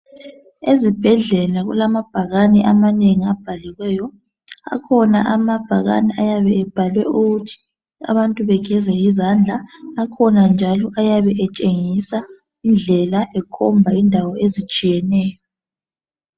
Ezibhedlela kulamabhakane amanengi abhaliweyo. Akhona amabhakane ayabe ebhalwe ukuthi abantu begeze izandla akhona njalo ayabe etshengisa indlela ekhomba indawo ezitshiyeneyo.